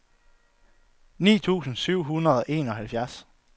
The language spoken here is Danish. ni tusind syv hundrede og enoghalvfjerds